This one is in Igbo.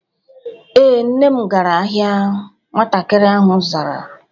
Ee, Nne m gara ahịa. Nwatakịrị ahụ zara